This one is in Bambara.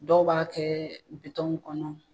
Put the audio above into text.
Dɔw b'a kɛ kɔnɔ